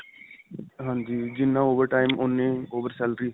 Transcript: ਹਾਂਜੀ. ਜਿੰਨਾ over time ਉੰਨੀ over salary.